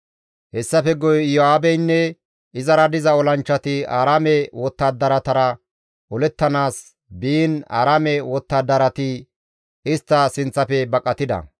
Hessafe guye Iyo7aabeynne izara diza olanchchati Aaraame wottadaratara olettanaas biin Aaraame wottadarati istta sinththafe baqatida.